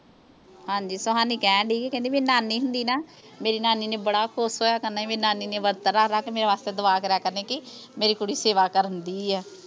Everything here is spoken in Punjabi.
ਹਾਂਜੀ ਸੁਹਾਨੀ ਕਹਿਣ ਡਈ ਸੀ ਕੇ ਕਹਿੰਦੀ ਮੇਰੀ ਨਾਨੀ ਹੁੰਦੀ ਨਾ ਮੇਰੀ ਨਾਨੀ ਨੇ ਬੜਾ ਖੁਸ਼ ਹੋਇਆ ਕਰਨਾ ਸੀ ਮੇਰੀ ਨਾਨੀ ਨੇ ਵਰਤ ਰੱਖ ਰੱਖ ਮੇਰੇ ਵਾਸਤੇ ਦੁਆ ਕਰਿਆ ਕਰਨੀ ਸੀ ਕੀ ਮੇਰੀ ਕੁੜੀ ਸੇਵਾ ਕਰਨ ਦਈ ਆ